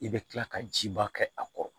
I bɛ kila ka jiba kɛ a kɔrɔ